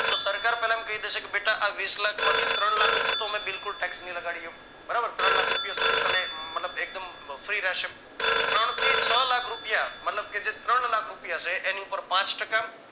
તો સરકાર પેહલા એમ કઈ દેશે કે બેટા આ વીસલાખ માંથી ત્રણલાખ ઉપર તો અમે બિલકુલ tax નહિ લગાડીયે બરાબર ત્રણલાખ તને મતલબ એકદમ free રહેશે ત્રણ થી છ લાખ રૂપિયા મતલબ કે જે ત્રણલાખ રૂપિયા છે એની પર પાંચ ટકા